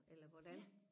eller hvordan